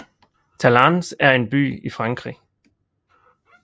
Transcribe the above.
Talence er en by i Frankrig